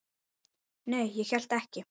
Nei, ég hélt ekki.